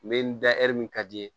N bɛ n da min ka di ye